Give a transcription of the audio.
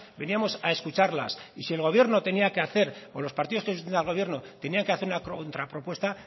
veníamos a escucharlas y si el gobierno tenía que hacer o los partidos que sustentan al gobierno tenían que hacer una contrapropuesta